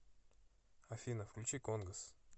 афина включи конгос